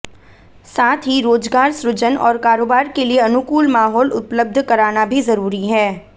साथ ही रोजगार सृजन और कारोबार के लिए अनुकूल माहौल उपलब्ध कराना भी जरूरी है